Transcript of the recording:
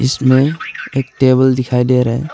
इसमें एक टेबल दिखाई दे रहा है।